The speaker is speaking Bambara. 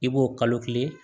I b'o kalo kelen